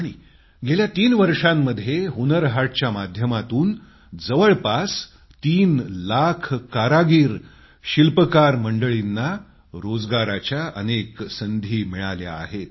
आणि गेल्या तीन वर्षांमध्ये हुनर हाटच्या माध्यमातून जवळपास तीन लाख कारागिर शिल्पकार मंडळींना रोजगाराच्या अनेक संधी मिळाल्या आहेत